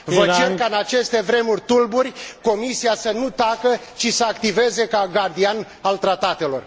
Vă cer ca în aceste vremuri tulburi, Comisia să nu tacă, ci să activeze ca gardian al tratatelor.